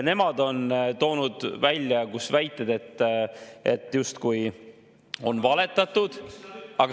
Nemad on toonud välja väited, justkui on valetatud.